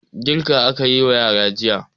Girka aka yi wa yara jiya.